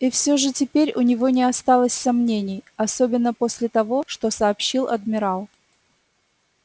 и всё же теперь у него не осталось сомнений особенно после того что сообщил адмирал